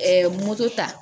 moto ta